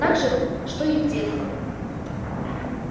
так же что и в детстве